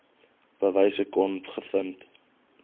bewyse kon gevind